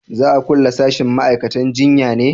za a kulle sashin ma'aikatan jinya ne?